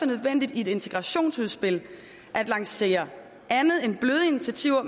nødvendigt i et integrationsudspil at lancere andet end bløde initiativer og